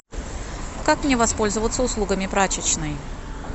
как мне воспользоваться услугами прачечной